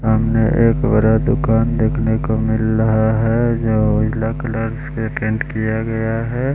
सामने एक बरा दुकान देखने को मिल रहा है जो जिला क्लास पे अटेंड किया गया है।